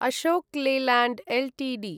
Ashok Leyland Ltd